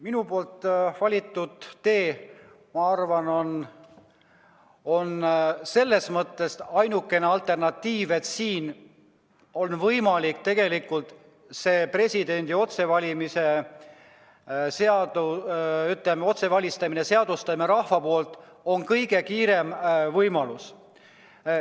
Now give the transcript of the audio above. Minu valitud tee, ma arvan, on selles mõttes ainuke alternatiiv, et rahva poolt otsevalimise seadustamine on kõige kiirem võimalus.